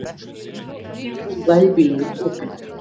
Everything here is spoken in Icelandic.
Engin rúða í bílnum opin.